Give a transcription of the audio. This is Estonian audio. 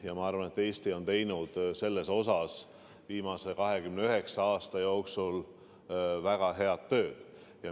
Ja ma arvan, et Eesti on teinud selles vallas viimase 29 aasta jooksul väga head tööd.